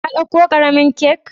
Ka dauka karemin kak?